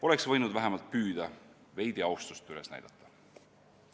Oleks võinud vähemalt püüda veidi austust üles näidata.